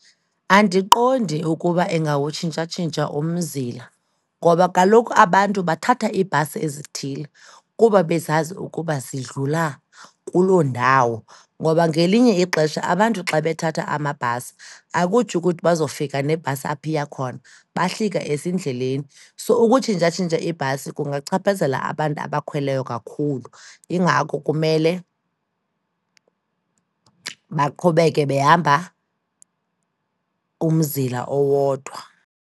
Andiqondi ukuba ingawutshintshatshintsha umzila ngoba kaloku abantu bathatha iibhasi ezithile kuba bezazi ukuba zidlula kuloo ndawo. Ngoba ngelinye ixesha abantu xa bethatha amabhasi, akutsho ukuthi bazofika nebhasi apha iya khona, bahlika ezindleleni. So, ukutshintshatshintsha iibhasi kungachaphazela abantu abakhweleyo kakhulu, yingako kumele baqhubeke behamba umzila owodwa.